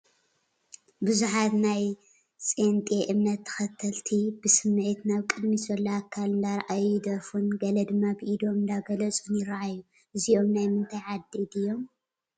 ብዙሓት ናይ ጼንጤ እምነት ተኸተልቲ ብስሚዒት ናብ ቅድሚት ዘሎ ኣካል እንዳረኣዩ ይደርፉን ገለ ድማ ብኢዶም እንዳገለፁን ይራኣዩ፡፡ እዚኦም ናይ ምንታይ ዓዲ ድዩም?